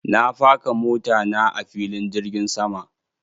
Na faka mota na a filin jirgin sama.